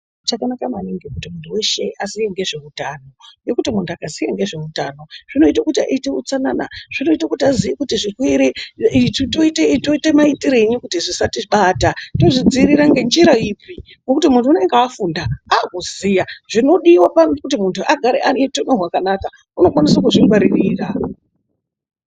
Chakanaka maningi kuti muntu weshe aziye ngezveutano. Ngekuti muntu angaziya nge zveutano zvinoita kuti aite utsanana, zvinoita kuti aziye kuti zvirwere ichi toita maititireyi kuti zvisatibata, tozvidziirira ngenjira ipi ngekuti muntu anenge afunda avakuziya zvinodiwa pakuti muntu agare aneutano hwakanaka unokwanise kuzvingwaririra